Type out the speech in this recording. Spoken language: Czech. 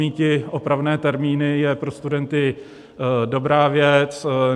Míti opravné termíny je pro studenty dobrá věc.